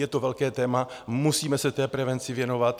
Je to velké téma, musíme se té prevenci věnovat.